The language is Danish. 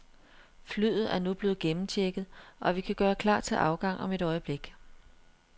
Flyet er nu blevet gennemchecket, og vi kan gøre klar til afgang om et øjeblik.